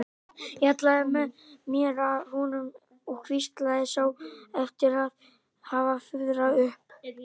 Ég hallaði mér að honum og hvíslaði, sá eftir að hafa fuðrað upp.